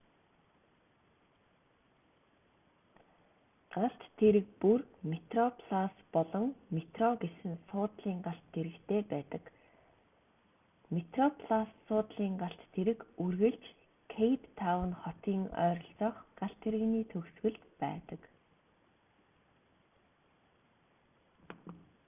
галт тэрэг бүр метроплас болон метро гэсэн суудлын галт тэрэгтэй байдаг метроплас суудлын галт тэрэг үргэлж кейптаун хотын ойролцоох галт тэрэгний төгсгөлд байдаг